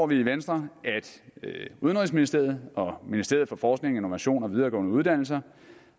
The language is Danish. vi i venstre at udenrigsministeriet og ministeriet for forskning innovation og videregående uddannelser